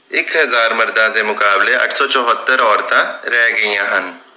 ਇਕ ਹਜਾਰ ਮਰਦਾਂ ਦੇ ਮੁਕਾਬਲੇ ਅੱਠ ਸੌ ਚੁਹਤਰ ਔਰਤਾਂ ਰਹਿ ਗਈਆਂ ਹਨ